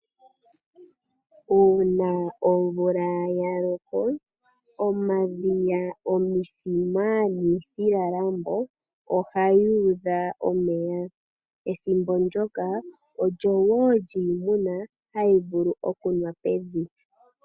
Uuna omvula yaloko omadhiya, omithima niithilalambo oha dhuudha omeya ethimbo ndyoka olyo woo kyiimuna hayi vulu okunwa pevi.